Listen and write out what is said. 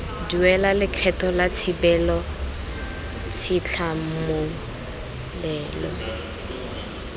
duela lekgetho la thibelo tshitlhamololelo